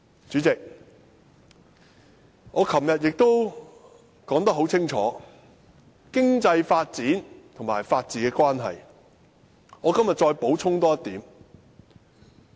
主席，我昨天已就經濟發展與法治的關係，作了清楚的解說，我今天多補充一點。